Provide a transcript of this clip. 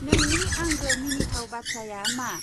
नोंनि आंगो मिनिथाव बाथ्राया मा?